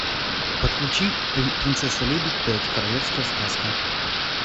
подключи принцесса лебедь пять королевская сказка